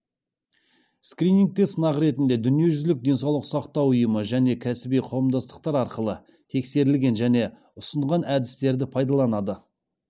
скринингте сынақ ретінде дүниежүзілік денсаулық сақтау ұйымы және кәсіби қауымдастықтар арқылы тексерілген және ұсынған әдістерді пайдаланады